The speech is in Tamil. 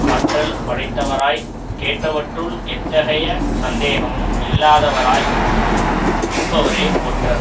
ஆற்றல் படைத்தவராய் கேட்டவற்றுள் எத்தகைய சந்தேகமும் இல்லாதவராய் இருப்பவரே ஒற்றர்